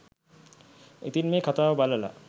ඉතින් මේ කථාව බලලා